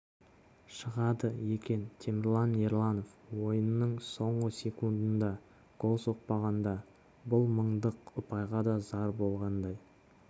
шығады екен темірлан ерланов ойынның соңғы секундында гол соқпағанда бұл мыңдық ұпайға да зар болғандай